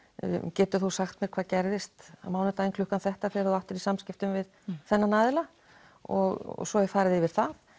geturðu sagt mér hvað gerðist á mánudeginum klukkan þetta þegar þú áttir í samskiptum við þennan aðila og svo er farið yfir það